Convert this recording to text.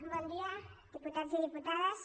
bon dia diputats i diputades